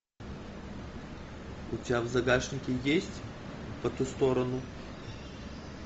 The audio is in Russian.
у тебя в загашнике есть по ту сторону